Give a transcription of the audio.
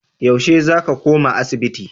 Yaushe za ka koma asibiti?